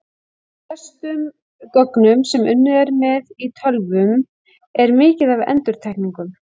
Í flestum gögnum sem unnið er með í tölvum er mikið af endurtekningum.